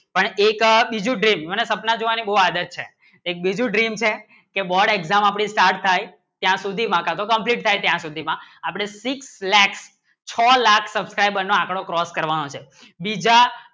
એક બીજું dream મને સપના જોવાની બહુ આદત છે એક બીજું dream છે કી board exam આપણી સ્ટાર્ટ થાય ત્યાં સુધી ત્યાં સુધી માં complete થાય અપને six lakhs છ લાખ subcriber નું એકડો cross કરવાનું છે બીજા